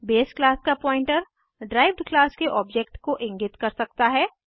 base class का pointer derived class के object को इंगित कर सकता है